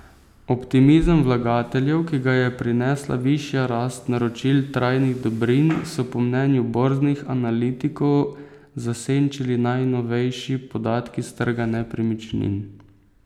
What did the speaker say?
Optimizem vlagateljev, ki ga je prinesla višja rast naročil trajnih dobrin, so po mnenju borznih analitikov zasenčili najnovejši podatki s trga nepremičnin.